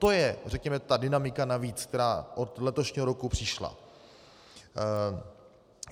To je, řekněme, ta dynamika navíc, která od letošního roku přišla.